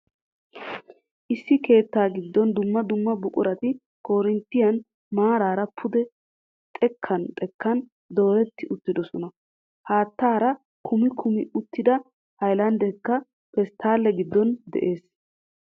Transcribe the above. Issi keettaa giddon dumma dumma buqurati karttooniyan maaraara pude xekkan xekkan dooretti uttiddossona. Haattaara kummi kummi uttida haylandeekka pesttaale giddon de'ees.